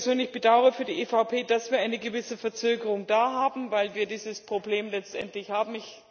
Ich persönlich bedauere für die EVP, dass wir eine gewisse Verzögerung haben, weil wir dieses Problem letztendlich haben.